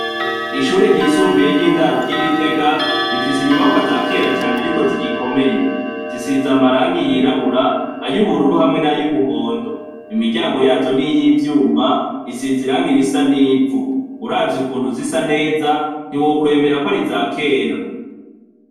Ishure ryisumbuye ry'indari ry'igitega rifise inyubakwa zakera cane ariko zigikomeye zisize amaragi y'irabura ay'ubururu hamwe nay'umuhondo, imiryango yazo niy'ivyuma isize iragi risa n'ivu, uravye ukuntu zisa neza ntiwokwemera kwar'izakera.